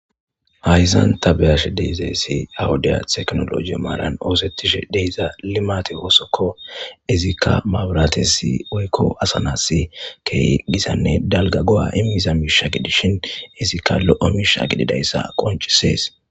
Hysan ta be'aash deizeesi ha wudiya teknoloje maaran oosettishe deyza limate woosokko izikka mabratesi oykko asanassi key gisanne dalga go7a immiza miisha gidishin izikka lo7o miisha gididayssa qoncisees.